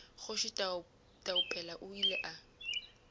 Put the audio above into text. kgoši taupela o ile a